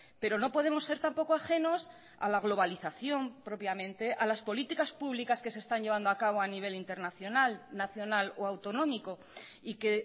pero no podemos ser tampoco ajenos a la globalización propiamente a las políticas públicas que se están llevando a cabo a nivel internacional nacional o autonómico y que